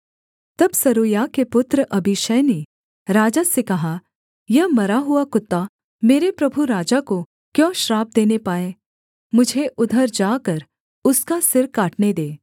तब सरूयाह के पुत्र अबीशै ने राजा से कहा यह मरा हुआ कुत्ता मेरे प्रभु राजा को क्यों श्राप देने पाए मुझे उधर जाकर उसका सिर काटने दे